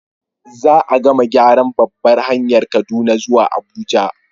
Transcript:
Za gama gyaran babbar hanyar Kaduna zuwa Abuja